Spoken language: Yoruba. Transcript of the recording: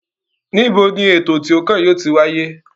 Níbo ni ètò tí ó kàn yóò ti wáyé?